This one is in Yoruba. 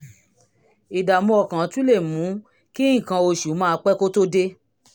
ìdààmú ọkàn tún lè mú kí nǹkan oṣù máa pẹ́ kó tó dé